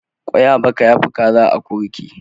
Kwai a baka ya fi Kaza a akurki.